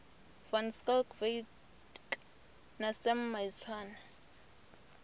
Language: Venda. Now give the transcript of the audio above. van schalkwyk na sam maitswane